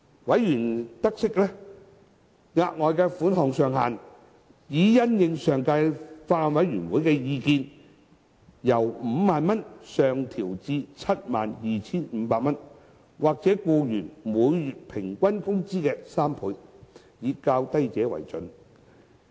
委員察悉，額外款項上限已因應前法案委員會的意見，由 50,000 元上調至 72,500 元，或僱員每月平均工資的3倍，以較低者為準。